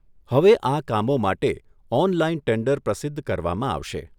હવે આ કામો માટે ઓનલાઈન ટેન્ડર પ્રસિદ્ધ કરવામાં આવશે.